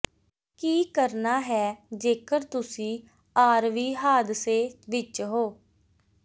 ਕੀ ਕਰਨਾ ਹੈ ਜੇਕਰ ਤੁਸੀਂ ਆਰਵੀ ਹਾਦਸੇ ਵਿਚ ਹੋ